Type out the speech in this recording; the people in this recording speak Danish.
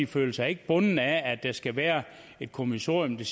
føler sig ikke bundet af at der skal være et kommissorium der